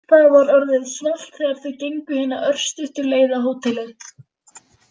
Það var orðið svalt þegar þau gengu hina örstuttu leið á hótelið.